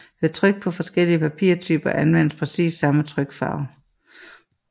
Ved tryk på forskellige papirtyper anvendes præcis samme trykfarve